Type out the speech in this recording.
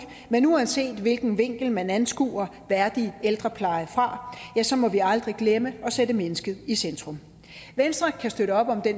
men uanset hvilken vinkel man anskuer værdig ældrepleje fra må vi aldrig glemme at sætte mennesket i centrum venstre kan støtte op om det